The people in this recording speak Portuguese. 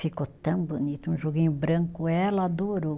Ficou tão bonito, um joguinho branco, ela adorou.